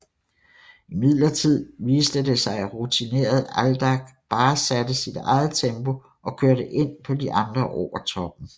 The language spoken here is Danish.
Imidlertid viste det sig at rutinerede Aldag bare satte sit eget tempo og kørte ind på de andre over toppen